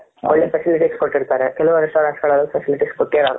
ಒಳ್ಳೆ facilities ಕೊಟ್ಟಿರ್ತಾರೆ ಕೆಲವು restaurant ಗಳಲಿ facilities ಕೊಟ್ಟಿರೋಲ್ಲ